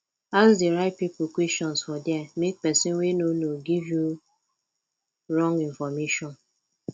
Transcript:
ask di right pipo questions for there make persin wey no know no give you wrong information